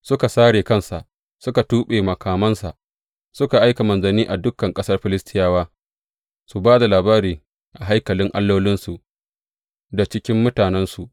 Suka sare kansa suka tuɓe makamansa, suka aika manzanni a dukan ƙasar Filistiyawa, su ba da labarin a haikalin allolinsu da cikin mutanensu.